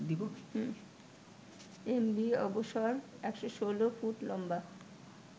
MV Abosar ১১৬ foot লম্বা